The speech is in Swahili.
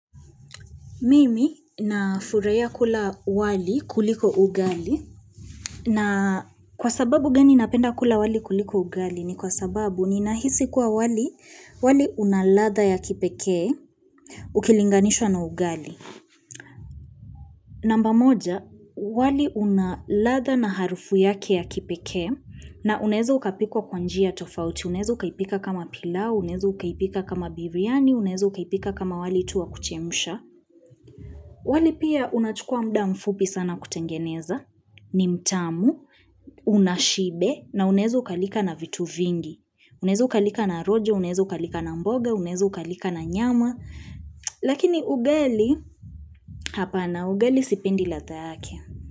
Mimi nafurahia kula wali kuliko ugali na kwa sababu gani napenda kula wali kuliko ugali ni kwa sababu ninahisi kuwa wali una ladha ya kipekee ukilinganishwa na ugali. Namba moja, wali unaladha na harufu yake ya kipekee na unaeza ukapikwa kwa njia tofauti, unaeza ukaipika kama pilau, unaeza ukaipika kama biriani, unaeza ukaipika kama wali tu wa kuchemsha. Wali pia unachukua muda mfupi sana kutengeneza ni mtamu, una shibe na unaeza ukalika na vitu vingi. Unaeza ukalika na rojo, unaeza ukalika na mboga, unaeza ukalika na nyama. Lakini ugali, hapana ugali sipendi ladha yake.